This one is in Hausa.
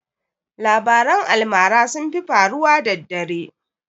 Labaran almara sun fi faruwa daddare